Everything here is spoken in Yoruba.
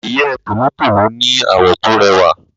Ìyẹ́ tòlótòló ní àwọ̀ tó rẹwà.